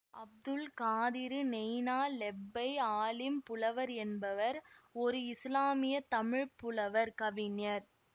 அப்துல் காதிறு நெய்னா லெப்பை ஆலிம் புலவர் என்பவர் ஒரு இசுலாமிய தமிழ் புலவர் கவிஞர்